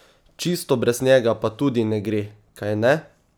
Čisto brez njega pa tudi ne gre, kajne?